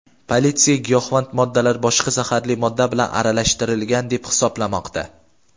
Politsiya giyohvand moddalar boshqa zaharli modda bilan aralashtirilgan deb hisoblamoqda.